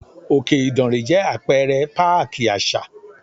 Òkè Ìdànrè jẹ́ Apẹ̀rẹ̀ páàkì àṣà.